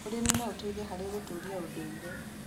ũrĩmi no ũteithie harĩ gũtũũria ũndũire.